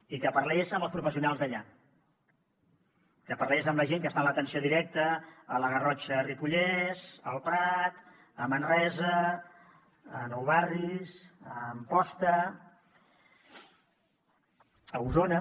i que parlés amb els professionals d’allà que parlés amb la gent que està en l’atenció directa a la garrotxa ripollès el prat a manresa a nou barris a amposta a osona